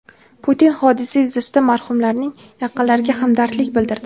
Putin hodisa yuzasidan marhumlarning yaqinlariga hamdardlik bildirdi.